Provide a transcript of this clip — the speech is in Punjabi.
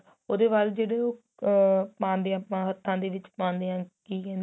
ਉਹਦੇ ਬਾਰੇ ਜਿਹੜੇ ਉਹ ਆ ਪਾਂਦੇ ਆ ਆਪਾਂ ਹੱਥਾ ਦੇ ਵਿੱਚ ਪਾਂਦੇ ਆ ਕੀ ਕਹਿਣੇ ਏ